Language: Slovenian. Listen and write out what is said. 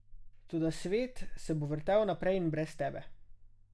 Toda svet se bo vrtel naprej in brez tebe.